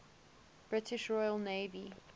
british royal navy